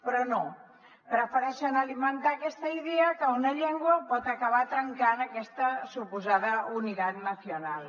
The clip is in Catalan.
però no prefereixen alimentar aquesta idea que una llengua pot acabar trencant aquesta suposada unidad nacional